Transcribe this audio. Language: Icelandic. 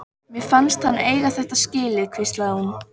Mér fannst hann eiga þetta skilið- hvíslaði hún.